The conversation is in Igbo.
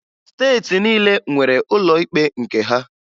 Steeti niile nwere ụlọ ikpe nke ha